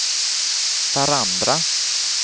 varandra